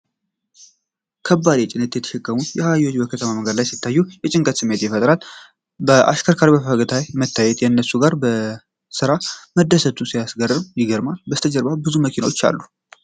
ከባድ ጭነት የተሸከሙ አህዮች በከተማ መንገድ ሲታዩ ሲያሳዝን፣ የጭንቀት ስሜትን ይፈጥራሉ። አሽከርካሪው በፈገግታ መታየቱ፣ ከእነሱ ጋር በስራ መደሰቱን ሲያሳይ ይገርማል። ከበስተጀርባ ብዙ መኪናዎች አሉ።